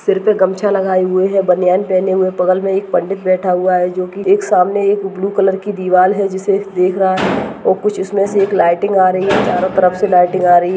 सिर पे गमछा लगाए हुए है बनियान पहने हुए है बगल में एक पंडित बैठा हुआ है जो की एक सामने एक ब्लू कलर की दिवार है जिसे देख रहा है और कुछ उसमे से एक लाइटिंग आ रही है चारो तरफ से लाइटिंग आ रही है।